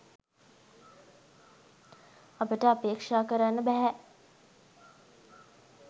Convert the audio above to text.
අපට අපේක්‍ෂා කරන්න බැහැ.